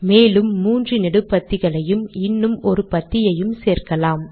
மேலும் மூன்று நெடுபத்திகளையும் இன்னும் ஒரு பத்தியையும் சேர்க்கலாம்